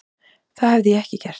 Það hefði ég ekki gert.